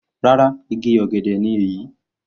Rárá igi ọ̀gẹ̀dẹ̀ ni èyí.